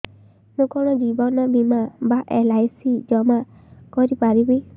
ମୁ କଣ ଜୀବନ ବୀମା ବା ଏଲ୍.ଆଇ.ସି ଜମା କରି ପାରିବି